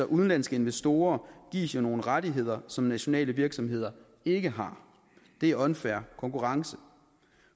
udenlandske investorer gives jo nogle rettigheder som nationale virksomheder ikke har det er unfair konkurrence